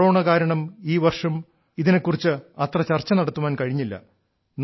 corona കാരണം ഈ വർഷം ഇതിനെ കുറിച്ച് അത്ര ചർച്ച നടത്താൻ കഴിഞ്ഞില്ല